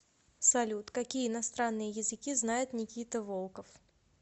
салют какие иностранные языки знает никита волков